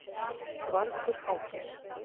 Vargur hangir